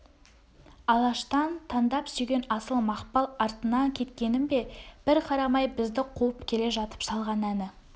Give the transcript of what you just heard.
алаштан таңдап сүйген асыл мақпал артыңа кеткенің бе бір қарамай бізді қуып келе жатып салған әні